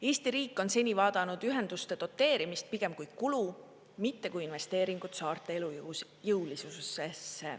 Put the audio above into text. Eesti riik on seni vaadanud ühenduste doteerimist pigem kui kulu, mitte kui investeeringud saarte elujõulisusse.